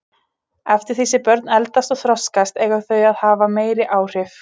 Eftir því sem börn eldast og þroskast eiga þau að hafa meiri áhrif.